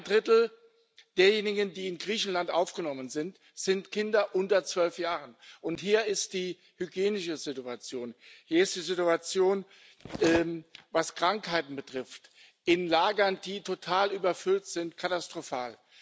Ein Drittel derjenigen, die in Griechenland aufgenommen worden sind, sind Kinder unter zwölf Jahren. Hier ist die hygienische Situation, hier ist die Situation, was Krankheiten betrifft, in Lagern, die total überfüllt sind, katastrophal.